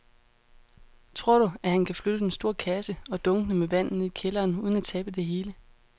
Tror du, at han kan flytte den store kasse og dunkene med vand ned i kælderen uden at tabe det hele?